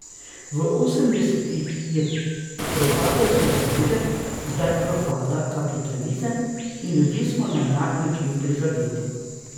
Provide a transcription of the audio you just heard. V osemdesetih je propadal socializem, zdaj propada kapitalizem in ljudje smo na enak način prizadeti.